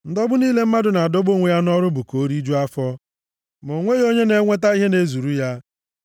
Ndọgbu niile mmadụ na-adọgbu onwe ya nʼọrụ bụ ka o rijuo afọ, + 6:7 \+xt Ilu 16:26\+xt* ma o nweghị onye na-enweta ihe na-ezuru ya.